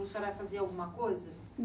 A senhora fazia alguma coisa?